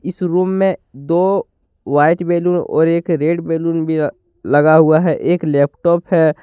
इस रूम में दो व्हाइट बैलून और एक रेड बैलून भी लगा हुआ है एक लैपटॉप है।